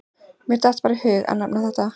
Mér datt bara í hug að nefna þetta.